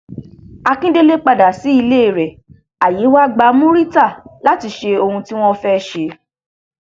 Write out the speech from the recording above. akíndélé padà sí ilé rẹ ààyè wàá gba murità láti ṣe ohun tí wọn fẹẹ ṣe